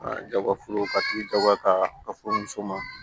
A jago ka tigi jagoya ka a fɔ muso ma